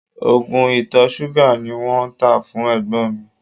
Oògùn ìtọ̀ ṣúgà ni wọ́n tá fún ẹ̀gbọ́n mi